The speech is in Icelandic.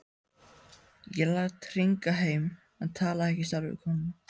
Ég lét hringja heim en talaði ekki sjálfur við konuna.